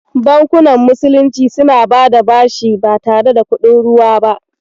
Bankunan musulunci suna bada bashi ba tare da kuɗin ruwa ba.